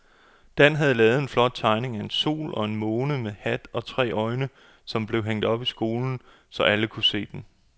Dan havde lavet en flot tegning af en sol og en måne med hat og tre øjne, som blev hængt op i skolen, så alle kunne se den.